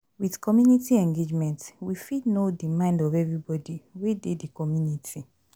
With community engagement, we fit know di mind of everybody wey dey di community